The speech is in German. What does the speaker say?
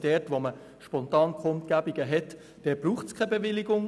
Wenn es Spontankundgebungen gibt, braucht es keine Bewilligung.